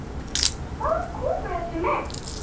Hvaðan komu þessi menn?